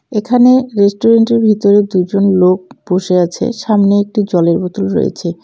এখানে রেস্টুরেন্টের ভিতরে দুজন লোক বসে আছে সামনে একটি জলের বোতল রয়েছে।